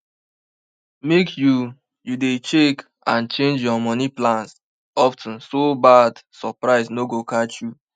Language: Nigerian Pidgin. make you you dey check and change your money plans of ten so bad surprise no go catch you